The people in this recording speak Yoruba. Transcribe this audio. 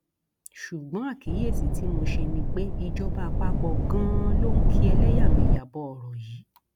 ṣùgbọn àkíyèsí tí mo ṣe ni pé ìjọba àpapọ ganan ló ń ki ẹlẹyàmẹyà bọ ọrọ yìí